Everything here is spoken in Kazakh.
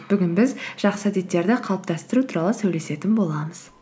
бүгін біз жақсы әдеттерді қалыптастыру туралы сөйлесетін боламыз